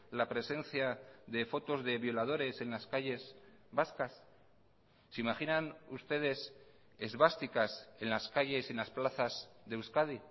la presencia de fotos de violadores en las calles vascas se imaginan ustedes esvásticas en las calles en las plazas de euskadi